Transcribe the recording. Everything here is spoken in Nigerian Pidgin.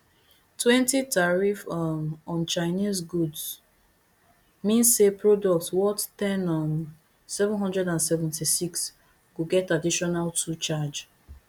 twenty tariff um on chinese goods mean say product worth ten um seven hundred and seventy-six go get additional two charge